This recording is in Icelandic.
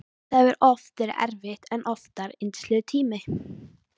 Það hefur oft verið erfitt en oftar yndislegur tími.